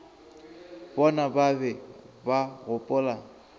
bona ba be ba gopola